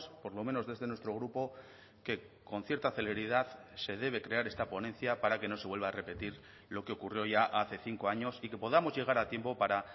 por lo menos desde nuestro grupo que con cierta celeridad se debe crear esta ponencia para que no se vuelva a repetir lo que ocurrió ya hace cinco años y que podamos llegar a tiempo para